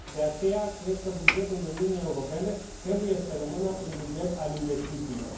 de aceea, cred că bugetul Uniunii Europene trebuie să rămână un buget al investițiilor.